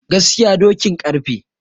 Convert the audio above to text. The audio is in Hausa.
Gaskiya dokin karfe.